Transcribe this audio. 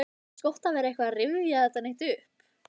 Eins gott að vera ekkert að rifja það neitt upp.